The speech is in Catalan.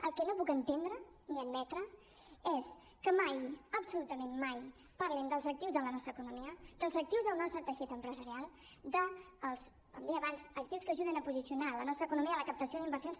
el que no puc entendre ni admetre és que mai absolutament mai parlin dels actius de la nostra economia dels actius del nostre teixit empresarial dels com deia abans actius que ajuden a posicionar la nostra economia i la captació d’inversions